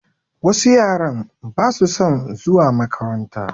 Wasu yaran basu son zuwa makaranta